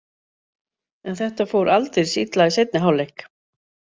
En þetta fór aldeilis illa í seinni hálfleik.